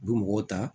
U bɛ mɔgɔw ta